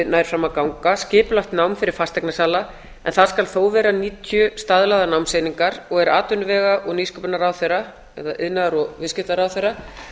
nær fram að ganga skipulagt nám fyrir fasteignasala en það skal þó vera níutíu staðlaðar námseiningar og er atvinnuvega og nýsköpunarráðherra eða iðnaðar og viðskiptaráðherra